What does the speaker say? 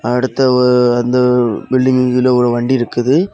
அடுத்த ஒ அந்த பில்டிங்கில்ல ஒரு வண்டி இருக்குது.